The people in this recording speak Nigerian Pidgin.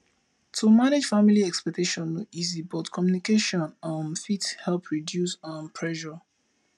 to manage family expectations no easy but communication um fit help reduce um pressure